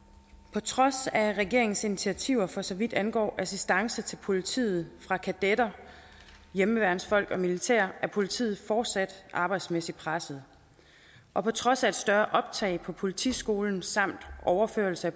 på trods af regeringens initiativer for så vidt angår assistance til politiet fra kadetter hjemmeværnsfolk og militæret er politiet fortsat arbejdsmæssigt presset og på trods af et større optag på politiskolen samt overførsel af